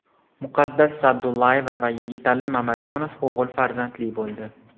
Muqaddas Sa’dullayeva va Yigitali Mamajonov o‘g‘il farzandli bo‘ldi.